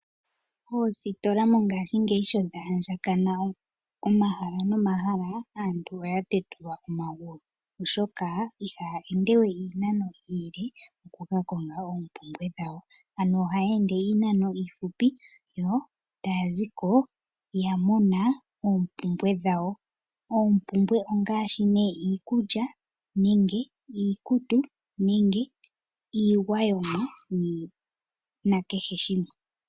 Oositola mongashingeyi shi dha andjakana nomahala nomahala, aantu oya tetulwa omagulu, oshoka ihaya ende we iinano iile oku ka konga oompumbwe dhawo. Ohaya ende iinano iifupi yo taya zi ko ya mona oompumbwe dhawo. Oompumbwe ongaashi iikulya, iikutu, iigwayomwa nakehe shimwe.